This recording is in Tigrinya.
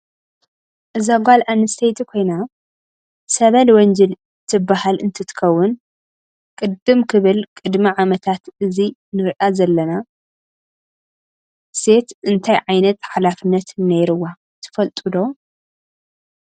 እዛ ጋል ኣንስተይቲ ኮይና ሰበል ወንጅል ትብሃል እንትትከውን ቅድም ክብል ቅድም ዓመታት እዚ ንርኣ ዘለና ሴት እታይ ዓይነት ሓላነት ነይርዋ ትፍልጥዶ?